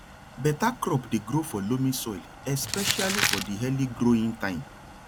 better crop dey grow for loamy soil especially for di early growing time